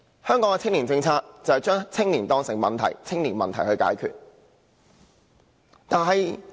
香港的青年政策只是把青年當成問題般解決。